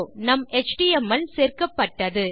நம் எச்டிஎம்எல் சேர்க்கப்பட்டது